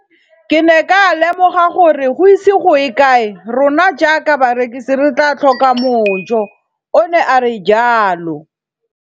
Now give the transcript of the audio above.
Ke ne ka lemoga gore go ise go ye kae rona jaaka barekise re tla tlhoka mojo, o ne a re jalo.